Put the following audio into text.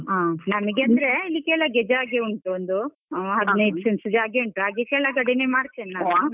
ಹಾ ನನಿಗೆ ಅಂದ್ರೆ ಅಲ್ಲಿ ಕೆಳಗೆ ಜಾಗೆ ಉಂಟು ಒಂದು. ಹಾ ಹದಿನೈದು cents ಜಾಗ ಉಂಟು ಹಾಗೆ ಕೆಳಗಡೇನೇ ಮಾಡ್ತೇನೆ .